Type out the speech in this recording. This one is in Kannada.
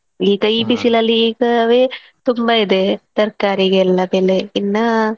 ಈಗ ಈ ಬಿಸಿಲಲ್ಲಿ ಈಗವೇ ತುಂಬಾ ಇದೆ ತರ್ಕಾರಿಗೆಲ್ಲಾ ಬೆಲೆ ಇನ್ನ,